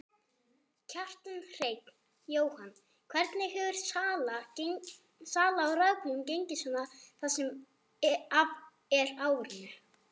Kjartan Hreinn: Jóhann, hvernig hefur sala á rafbílum gengið svona það sem af er árinu?